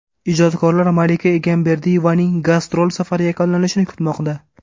Ijodkorlar Malika Egamberdiyevaning gastrol safari yakunlanishini kutmoqda.